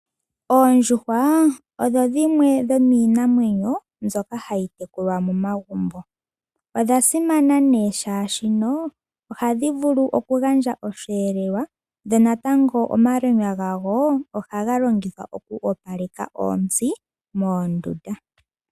Oondjuhwa odho dhimwe dhomiinamwenyo mbyoka hayi tekulwa momagumbo. Odha simana ne shashono ohadhi vulu oku gandja oshivelelwa, ndele natango omalwenya gadho ohaga longithwa oku opaleka ontsi moondunda.